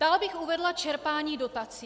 Dál bych uvedla čerpání dotací.